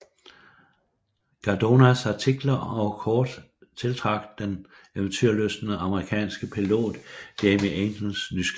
Cardonas artikler og kort tiltrak den eventyrlystne amerikanske pilot Jimmie Angels nysgerrighed